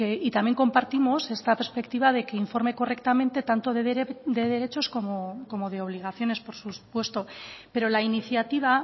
y también compartimos esta perspectiva de que informe correctamente tanto de derechos como de obligaciones por supuesto pero la iniciativa